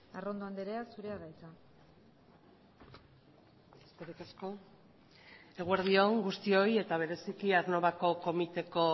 arrondo andrea zurea da hitza eskerrik asko eguerdi on guztioi eta bereziki aernnovako komiteko